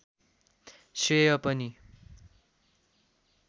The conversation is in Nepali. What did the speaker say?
श्रेय पनि